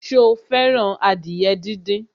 Sọ fẹ́ràn adìyẹ díndín?